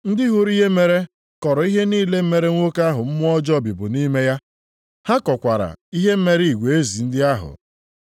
Ndị hụrụ ihe mere kọọrọ ihe niile mere nwoke ahụ mmụọ ọjọọ bibu nʼime ya. Ha kọkwaara ihe mere igwe ezi ndị ahụ.